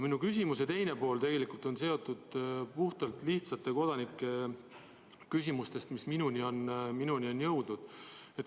Minu küsimuse teine pool on tegelikult ajendatud lihtsate kodanike küsimustest, mis minuni on jõudnud.